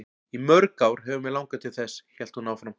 Í mörg ár hefur mig langað til þess, hélt hún áfram.